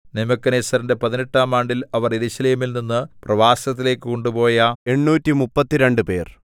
നെബൂഖദ്നേസരിന്റെ പതിനെട്ടാം ആണ്ടിൽ അവൻ യെരൂശലേമിൽ നിന്നു പ്രവാസത്തിലേക്കു കൊണ്ടുപോയ എണ്ണൂറ്റിമുപ്പത്തിരണ്ടുപേർ